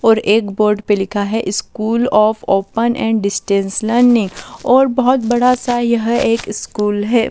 और एक बोर्ड पे लिखा है school of open and distance learning और बहुत बड़ा सा यह एक स्कूल है।